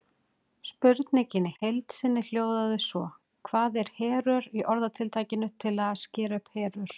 Spurningin í heild sinni hljóðaði svo: Hvað er herör í orðatiltækinu að skera upp herör?